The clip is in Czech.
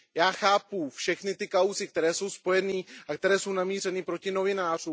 Já chápu všechny ty kauzy, které jsou spojené a které jsou namířené proti novinářům.